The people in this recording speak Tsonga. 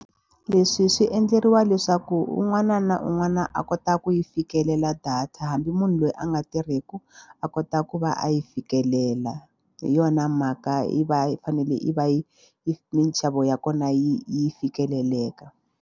Leswi swi endleriwa leswaku un'wana na un'wana a kota ku yi fikelela data hambi munhu loyi a nga tirhiku a kota ku va a yi fikelela hi yona mhaka yi va yi fanele yi va yi yi minxavo ya kona yi yi fikeleleka.